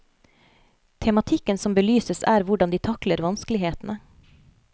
Tematikken som belyses er hvordan de takler vanskelighetene.